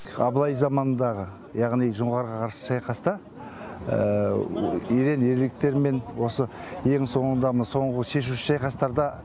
абылай заманындағы яғни жоңғарға қарсы шайқаста ерен ерліктерімен осы ең соңында мына соңғы шешуші шайқастарда